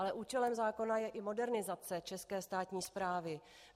Ale účelem zákona je i modernizace české státní správy.